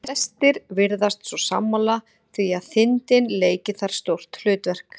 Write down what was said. Flestir virðast þó sammála því að þindin leiki þar stórt hlutverk.